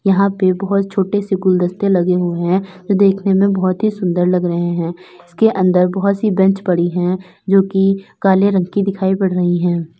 यहां पे बहुत छोटे से गुलदस्ते लगे हुए हैं जो देखने में बहुत ही सुंदर लग रहे हैं। इसके अंदर बहुत सी बेंच पड़ी हैं जो कि काले रंग की दिखाई पड़ रही हैं।